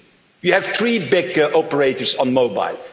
the FCC. You have three big operators on